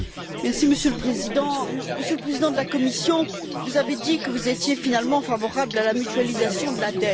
Monsieur le Président, Monsieur le Président de la Commission, vous avez dit que vous étiez finalement favorable à la mutualisation de la dette.